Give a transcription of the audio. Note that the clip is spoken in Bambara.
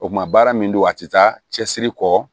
O kuma baara min don a tɛ taa cɛsiri kɔ